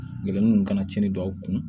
Gerennu ka na tiɲɛni don aw kun